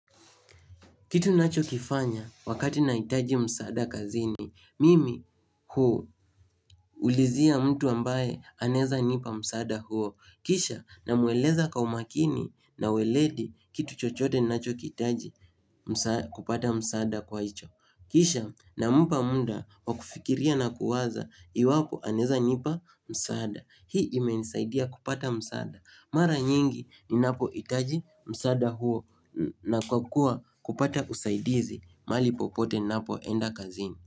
Kitu ninacho kifanya wakati nahitaji msaada kazini, mimi hu ulizia mtu ambaye anaeza nipa msaada huo. Kisha na mueleza kwa umakini na ueledi kitu chochote ninacho kihitaji msaa kupata msaada kwa hicho. Kisha namupa muda wa kufikiria na kuwaza iwapo anaeza nipa msaada. Hii imenisaidia kupata msaada. Mara nyingi ninapo itaji msaada huo na kwakuwa kupata usaidizi mahali popote napoenda kazini.